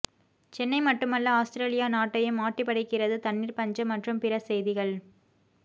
சென்னை மட்டுமல்ல ஆஸ்திரேலியா நாட்டையும் ஆட்டிப்படைக்கிறது தண்ணீர் பஞ்சம் மற்றும் பிற செய்திகள்